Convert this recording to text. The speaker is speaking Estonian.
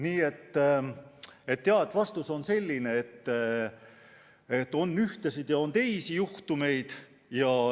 Nii et vastus on selline, et on ühtesid ja on teisi juhtumeid.